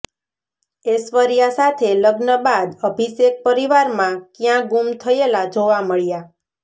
ઐશ્વર્યા સાથે લગ્ન બાદ અભિષેક પરિવારમાં ક્યાં ગુમ થયેલા જોવા મળ્યા